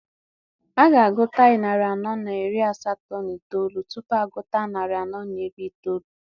A ga-agụta narị anọ na iri asatọ na itoolu tupu agụta narị anọ na iri itoolu.